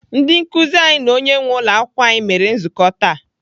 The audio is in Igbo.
Ndị nkụzi anyị na onye nwee ụlọakwụkwọ anyị mere nzukọ taa.